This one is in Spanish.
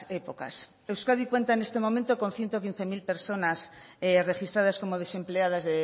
épocas euskadi cuenta en este momento con ciento quince mil personas registradas como desempleadas